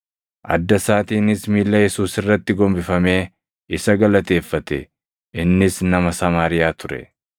Adda isaatiinis miilla Yesuus irratti gombifamee isa galateeffate; innis nama Samaariyaa ture.